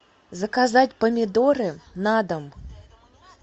заказать помидоры на дом